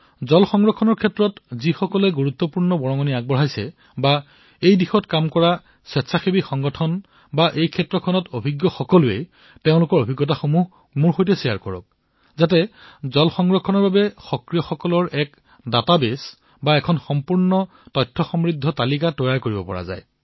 জল সংৰক্ষণৰ দিশত গুৰুত্বপূৰ্ণ যোগদান প্ৰদান কৰা ব্যক্তিসকলক স্বয়ং সেৱী সংগঠনসকলক আৰু এই ক্ষেত্ৰত কাম কৰা সকলো ব্যক্তিক যাৰ এই বিষয়ে জ্ঞান আছে তেওঁলোকক আপোনালোকৰ তথ্য প্ৰদান কৰক যাতে সমৃদ্ধ পানীৰ বাবে সমৰ্পিত পানীৰ বাবে সক্ৰিয় সংগঠনৰ ব্যক্তিসকলৰ এক ডাটাবেছ প্ৰস্তুত কৰিব পাৰিব